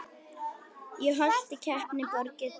Í Holti kappinn Þorgeir bjó.